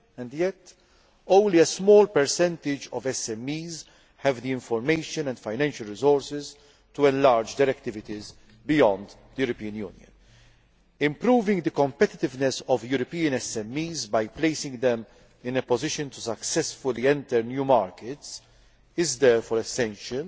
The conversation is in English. Yet only a small percentage of SMEs have the information and financial resources to enlarge their activities beyond the European Union. Improving the competitiveness of European SMEs by placing them in a position to successfully enter new markets is therefore essential